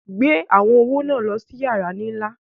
Gbè àwọn ọwọ̀ ná lọ sí yàrà nílá!